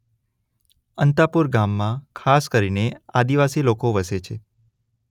અંતાપુર ગામમાં ખાસ કરીને આદિવાસી લોકો વસે છે.